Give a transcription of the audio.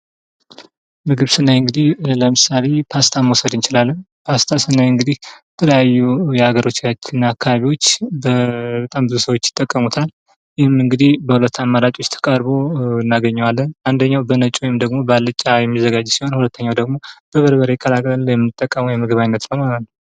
ምግብ ስናይ እንግዲህ ለምሳሌ ፓስታ መዉሰድ እንችላለን። ፓስታን ስናይ እንግዲህ የተለያዩ የሀገራችን አካብቢዎች ይጠቀሙታል። ይህም እንግዲህ በሁለት አማራጮ ቀርቦ እናገኘዋለን።